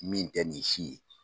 Min tɛ nin si ye